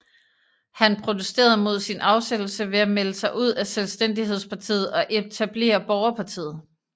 Han protesterede mod sin afsættelse ved at melde sig ud af Selvstændighedspartiet og etablere Borgerpartiet